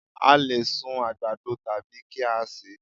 A lè sun àgbàdo tàbí kí á sè é